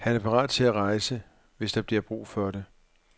Han er parat til at rejse, hvis der bliver brug for det.